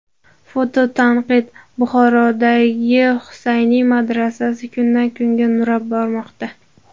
Fototanqid: Buxorodagi Husayni madrasasi kundan kunga nurab bormoqda.